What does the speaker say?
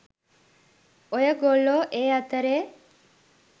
ඔය ගොල්ලෝ ඒ අතරේ